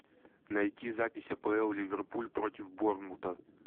найти запись апл ливерпуль против борнмута